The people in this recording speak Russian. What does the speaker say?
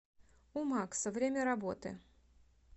у макса время работы